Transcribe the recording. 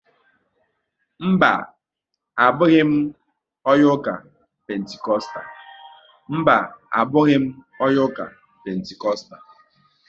Mba, abụghị m onye ụka Pentikostal